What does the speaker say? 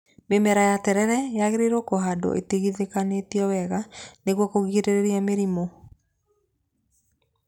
Mĩmera ya terere yagĩrĩirwo kũhandwa itigithanĩtio wega nĩguo kũgirĩrĩria mĩrimũ.